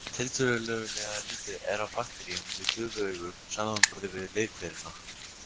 Tiltölulega lítið er af bakteríum við gufuaugu samanborið við leirhverina.